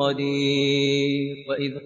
قَدِيرٌ